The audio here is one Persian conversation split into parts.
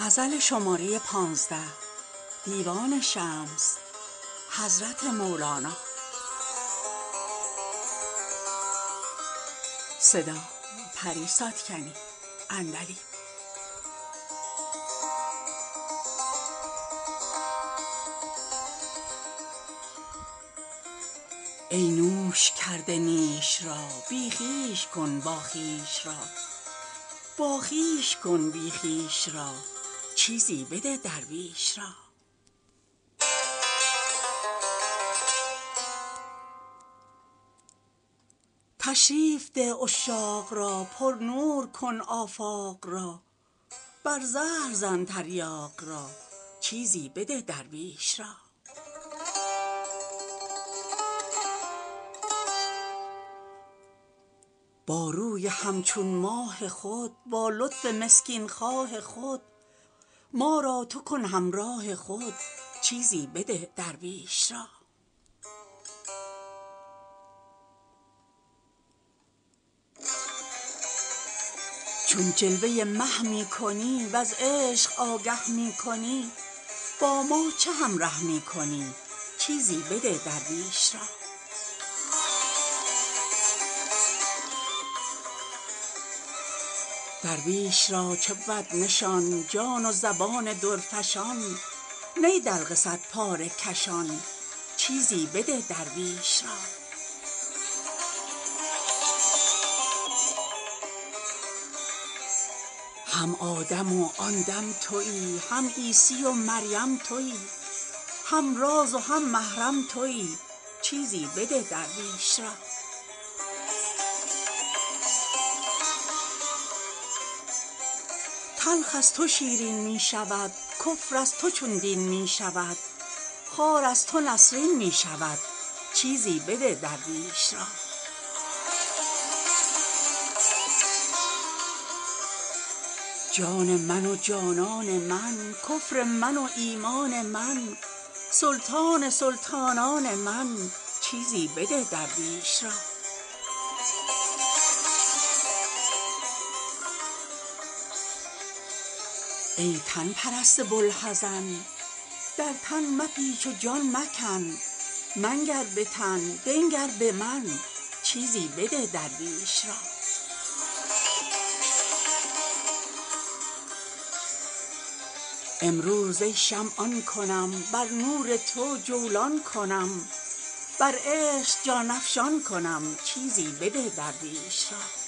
ای نوش کرده نیش را بی خویش کن باخویش را باخویش کن بی خویش را چیزی بده درویش را تشریف ده عشاق را پرنور کن آفاق را بر زهر زن تریاق را چیزی بده درویش را با روی همچون ماه خود با لطف مسکین خواه خود ما را تو کن همراه خود چیزی بده درویش را چون جلوه مه می کنی وز عشق آگه می کنی با ما چه همره می کنی چیزی بده درویش را درویش را چه بود نشان جان و زبان درفشان نی دلق صدپاره کشان چیزی بده درویش را هم آدم و آن دم توی هم عیسی و مریم توی هم راز و هم محرم توی چیزی بده درویش را تلخ از تو شیرین می شود کفر از تو چون دین می شود خار از تو نسرین می شود چیزی بده درویش را جان من و جانان من کفر من و ایمان من سلطان سلطانان من چیزی بده درویش را ای تن پرست بوالحزن در تن مپیچ و جان مکن منگر به تن بنگر به من چیزی بده درویش را امروز ای شمع آن کنم بر نور تو جولان کنم بر عشق جان افشان کنم چیزی بده درویش را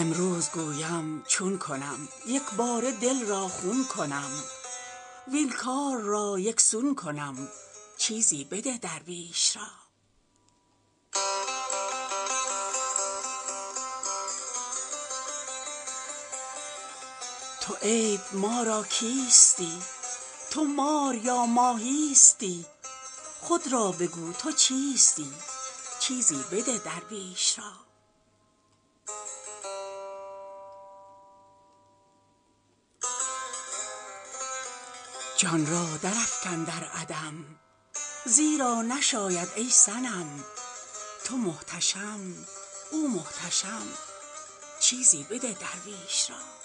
امروز گویم چون کنم یک باره دل را خون کنم وین کار را یک سون کنم چیزی بده درویش را تو عیب ما را کیستی تو مار یا ماهیستی خود را بگو تو چیستی چیزی بده درویش را جان را درافکن در عدم زیرا نشاید ای صنم تو محتشم او محتشم چیزی بده درویش را